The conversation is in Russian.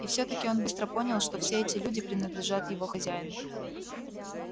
и все таки он быстро понял что все эти люди принадлежат его хозяину